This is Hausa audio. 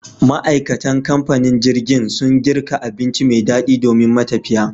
Ma, aikatan kamfanin jirgin sun girka abinci me daɗi domin matafiya